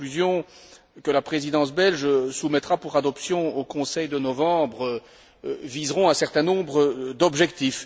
Les conclusions que la Présidence belge soumettra pour adoption au Conseil de novembre viseront un certain nombre d'objectifs.